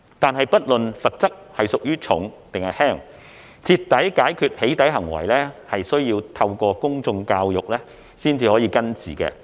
然而，不論罰則屬重或輕，徹底解決"起底"行為需要透過公眾教育才能根治。